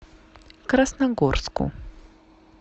красногорску